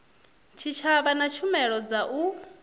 tshitshavha na tshumelo dza u